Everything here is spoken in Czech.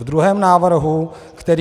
V druhém návrhu, který...